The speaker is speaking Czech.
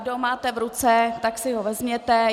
Kdo ho máte v ruce, tak si ho vezměte.